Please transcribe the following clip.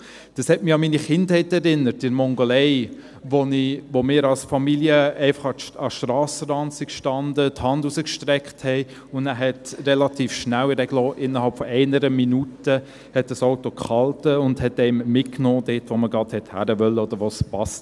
Dies hat mich an meine Kindheit erinnert in der Mongolei, wo wir als Familie einfach an den Strassenrand standen, die Hand rausstreckten und dann hielt relativ rasch, innerhalb von einer Minute ein Auto an und nahm einen mit, dorthin, wo man gerade wollte oder wo es passte.